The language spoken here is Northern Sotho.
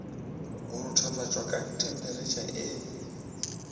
go ruthufatšwa ka themperetšha e